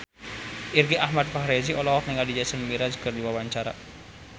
Irgi Ahmad Fahrezi olohok ningali Jason Mraz keur diwawancara